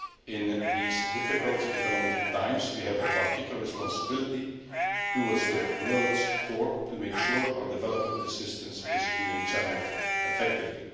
In these difficult economic times, we have a particular responsibility towards the world's poor to make sure our development assistance is being channelled effectively.